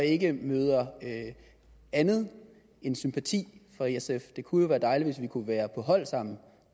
ikke møder andet end sympati fra sf det kunne jo være dejligt hvis vi kunne være på hold sammen